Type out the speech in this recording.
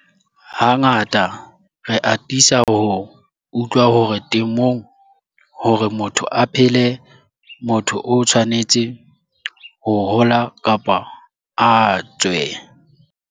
Hangata re atisa ho utlwa hore temong hore motho a phele motho o tshwanetse ho HOLA kapa a TSWE.